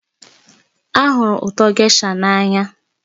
Ahụrụ ụtọ gésha n'anya